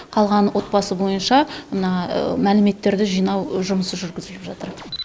қалған отбасы бойынша мына мәліметтерді жинау жұмысы жүргізіліп жатыр